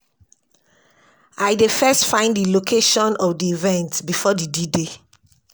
I dey first find di location of di event before d d-day.